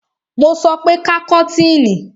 Mo sọ pé ká kọ́tìnì!